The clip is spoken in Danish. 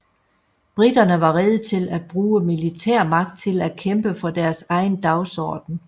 Briterne var rede til at bruge militærmagt til at kæmpe for deres egen dagsorden